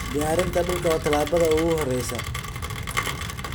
Diyaarinta dhulka waa talaabada ugu horeysa.